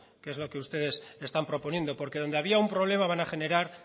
que es lo que ustedes están proponiendo porque donde había un problema van a generar